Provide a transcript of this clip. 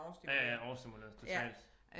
Ja ja overstimuleret totalt